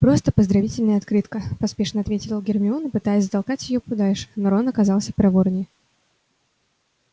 просто поздравительная открытка поспешно ответила гермиона пытаясь затолкать её подальше но рон оказался проворнее